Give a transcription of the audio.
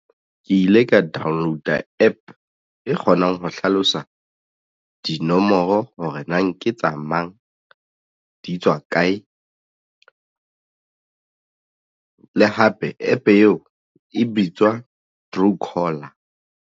Ke ile ka download-a APP e kgonang ho hlalosa dinomoro hore na nke tsa mang di tswa kae le hape APP eo e bitswa Truecaller.